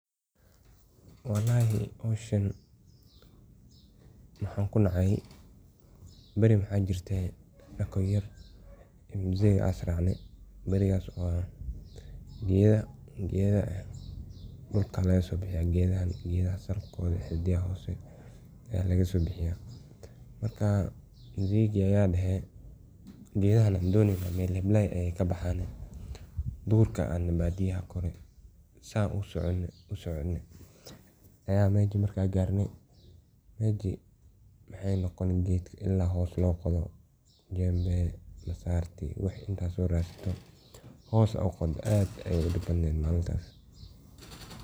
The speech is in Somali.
Walhi mashan, waxan ku nacay bari wax jirta anugo yar musayka aya isracna barikas oo ah, gada dulka laga sobixiya gada salgoda xidida hosa laga sobixiya, marka musayka aya daha gadahan an donaynoh mal hablay ayay ka baxana, durka aya adna badiyaha gora saa usoconi usoconi aya masha marka garna mashi maay noqoni gadki ila hoos loqodoh jambe masrti wixi inta soradsada hoos ad uqadoh aad ayay u dibadantahay.